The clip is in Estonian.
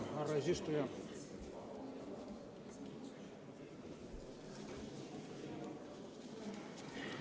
Härra eesistuja!